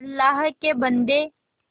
अल्लाह के बन्दे